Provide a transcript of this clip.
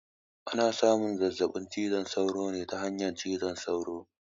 Ana samun zazzaɓin cizon sauro ne ta hanyar cizon sauro